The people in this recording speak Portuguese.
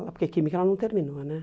Porque química ela não terminou, né?